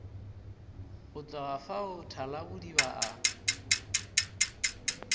go tloga fao thalabodiba a